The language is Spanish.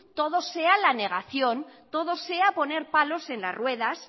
todo sea la negación todo sea poner palos en las ruedas